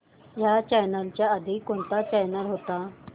ह्या चॅनल च्या आधी कोणता चॅनल होता